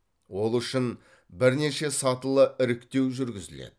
ол үшін бірнеше сатылы іріктеу жүргізіледі